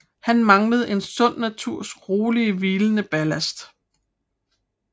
Han manglede en sund naturs rolig hvilende ballast